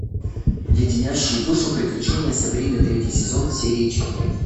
леденящие душу приключения сабрины третий сезон серия четыре